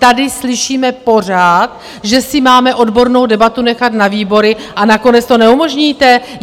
Tady slyšíme pořád, že si máme odbornou debatu nechat na výbory a nakonec to neumožníte?